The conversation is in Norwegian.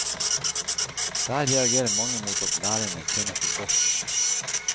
Der reagerer mange mot at lærerne tjener for godt.